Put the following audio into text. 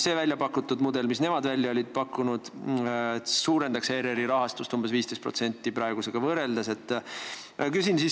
See mudel, mille nemad välja olid pakkunud, suurendaks ERR-i rahastust praegusega võrreldes umbes 15%.